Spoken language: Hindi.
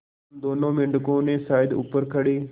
उन दोनों मेढकों ने शायद ऊपर खड़े